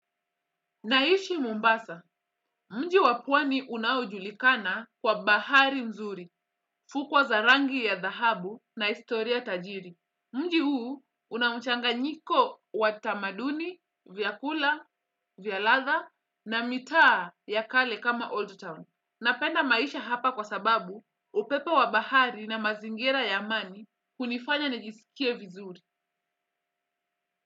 Naishi Mombasa, mji wa pwani unaojulikana kwa bahari mzuri, fukwo za rangi ya dhahabu na historia tajiri. Mji huu una mchanganyiko wa tamaduni, vyakula, vya ladha na mitaa ya kale kama Old Town. Napenda maisha hapa kwa sababu upepo wa bahari na mazingira ya amani hunifanya nijisikie vizuri.